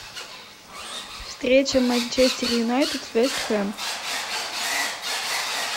встреча манчестер юнайтед вест хэм